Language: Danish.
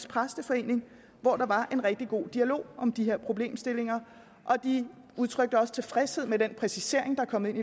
præsteforening hvor der var en rigtig god dialog om de her problemstillinger de udtrykte også tilfredshed med den præcisering der er kommet ind